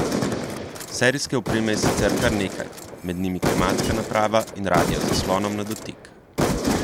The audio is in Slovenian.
Serijske opreme je sicer kar nekaj, med njimi klimatska naprava in radio z zaslonom na dotik.